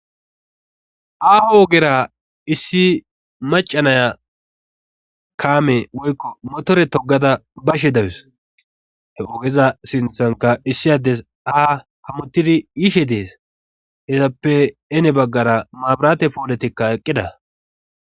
Aaho ogera issi macanaya kaame woykko motore togada bashe dawus he ogeza sinthanka issi addes aha hammottidi yishe dees hezappe ene baggara maabiraate pooletikka eqqida.